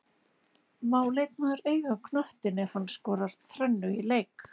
Má leikmaður eiga knöttinn ef hann skorar þrennu í leik?